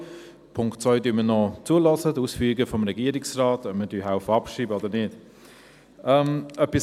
Bei Punkt 2 werden wir noch die Ausführungen des Regierungsrates anhören, bevor wir entscheiden, ob wir abschreiben helfen oder nicht.